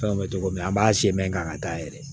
Fɛnw bɛ cogo min na an b'a se mɛ k'an ka taa yɛrɛ